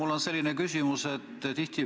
Mul on selline küsimus.